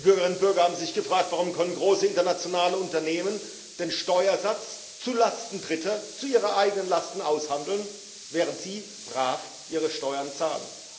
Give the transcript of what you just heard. Die Bürgerinnen und Bürger haben sich gefragt, warum große internationale Unternehmen den Steuersatz zulasten Dritter, zu ihren Lasten, aushandeln können, während sie brav ihre Steuern zahlen.